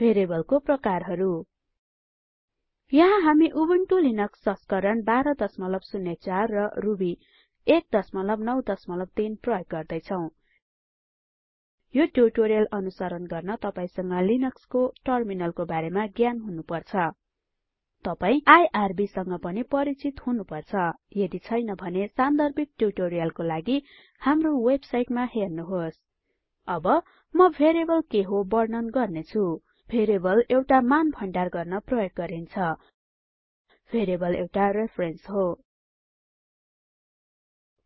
भेरिएबलहरूको प्रकारहरु यहाँ हामी उबुन्टु लिनक्स संस्करण १२०४ र रुबी १ ९३ प्रयोग गर्दै छौ यो ट्यूटोरियल अनुसरण गर्न तपाईसँग लिनक्स को टर्मिनल को बारेमा ज्ञान हुनु पर्छ तपाई आईआरबी सँग पनि परिचित हुनु पर्छ यदि छैन भने सान्दर्भिक ट्यूटोरियलको लागि कृपया हाम्रो वेबसाइटमा हेर्नुहोस् अब म भेरिएबल के हो वर्णन गर्ने छु भेरिएबल एउटा मान भण्डार गर्न प्रयोग गरिन्छ भेरिएबल एउटा रेफरेन्स हो